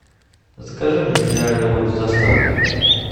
закажи мне минеральную воду с доставкой